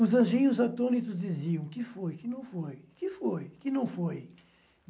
Os anjinhos atônitos diziam que foi, que não foi, que foi, que não foi.